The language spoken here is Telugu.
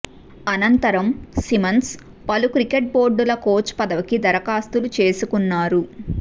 అనంతరం సిమ్మన్స్ పలు క్రికెట్ బోర్డుల కోచ్ పదవికి దరఖాస్తులు చేసుకున్నారు